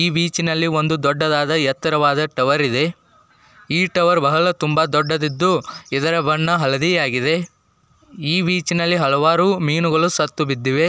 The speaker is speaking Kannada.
ಈ ಬೀಚ್ನಲ್ಲಿ ಒಂದು ದೊಡ್ಡದಾದ ಎತ್ತರವಾದ ಟವರ್ ಇದೆ ಈ ಟವರ್ ಬಹಳ ತುಂಬ ದೊಡ್ಡದಿದ್ದು ಇದರ ಬಣ್ಣ ಹಳದಿಯಾಗಿದೆ ಈ ಬೀಚಿನಲ್ಲಿ ಹಲವಾರು ಮೀನುಗಳು ಸತ್ತುಬಿದ್ದಿವೆ --